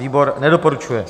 Výbor nedoporučuje.